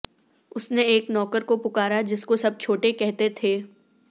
اس نے ایک نوکر کو پکارا جس کو سب چھوٹے کہتے تھے